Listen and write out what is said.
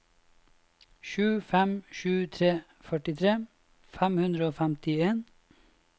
sju fem sju tre førtitre fem hundre og femtien